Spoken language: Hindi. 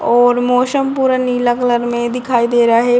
और मौसम पूरा नीला कलर में दिखाई दे रहा है।